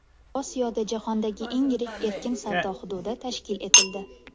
Osiyoda jahondagi eng yirik erkin savdo hududi tashkil etildi.